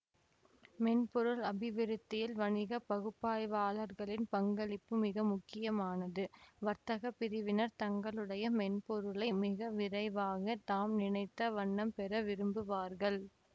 மென்பொருள் அபிவிருத்தியில் வணிக பகுப்பாய்வாளர்களின் பங்களிப்பு மிக முக்கியமானது வர்த்தக பிரிவினர் தங்களுடைய மென்பொருளை மிக விரைவாக தாம் நினைத்த வண்ணம் பெற விரும்புவார்கள்